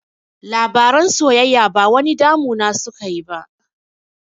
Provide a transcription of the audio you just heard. Labaran soyayya ba wani damu na suka yi ba